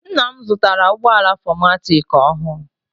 Ńnà m zụtara ụgbọala 4matic ọhụụ.